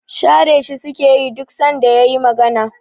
Share shi sukeyi duk sanda yayi magana